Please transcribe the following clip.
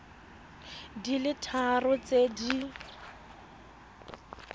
di le tharo tse di